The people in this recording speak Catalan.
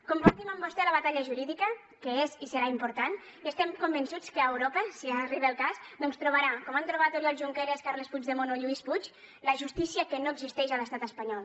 compartim amb vostè la batalla jurídica que és i serà important i estem convençuts que a europa si arriba el cas trobarà com han trobat oriol junqueras carles puigdemont o lluís puig la justícia que no existeix a l’estat espanyol